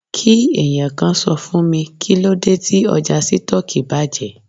Kí ẹ̀yàn kan sọ fún mi, kíló dé tí ọjà Sítọ́ọ́kì bàjẹ́?